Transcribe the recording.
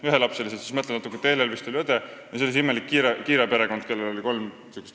Kui natuke mõelda, siis meenub, et Teelel vist oli õde ja veel oli seal see imelik Kiire perekond, kus oli kolm totakat last.